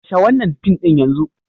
Kashe wannan fim din yanzu!